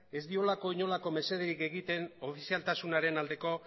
ez diolako inolako mesederik egiten ofizialtasunaren aldeko